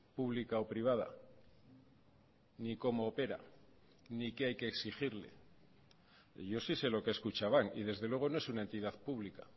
pública o privada ni como opera ni qué hay que exigirle yo si sé lo que es kutxabank y desde luego no es una entidad pública